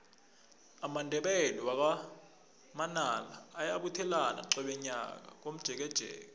amandebele wakwa manala ayabuthelana qobe nyaka aye komjekejeke